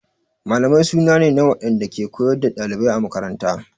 Mallamai suna ne na waɗanda ke koyar da ɗalibai a makaranta.